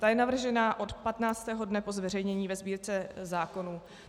Ta je navržena od 15. dne po zveřejnění ve Sbírce zákonů.